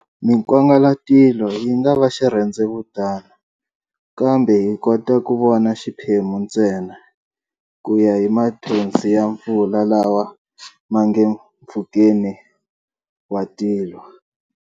Minkwangalatilo yingava xirhendzevutana, kambe hi kota ku vona xiphemu ntsena kuya hi mathonsi ya mpfula lawa mange mpfhukeni wa tilo.